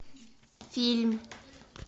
фильм